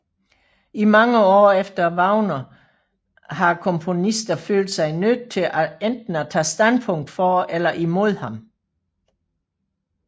I mange år efter Wagner har komponister følt sig nødt til enten at tage standpunkt for eller imod ham